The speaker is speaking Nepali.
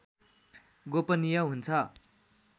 गोपनिय हुन्छ